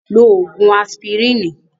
Lo ògùn asipirínì.